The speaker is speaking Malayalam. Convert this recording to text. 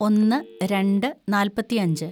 ഒന്ന് രണ്ട് നാല്‍പത്തിയഞ്ച്‌